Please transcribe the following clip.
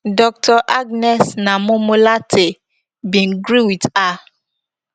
dr agnes naa momo lartey bin gree wit her